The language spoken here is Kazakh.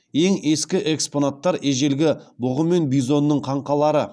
ең ескі экспонаттар ежелгі бұғы мен бизонның қаңқалары